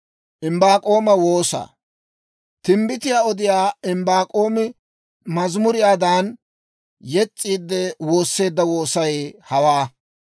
Timbbitiyaa odiyaa Imbbaak'oomi mazimuriyaadan yes's'iidde, woosseedda woosay hawaa: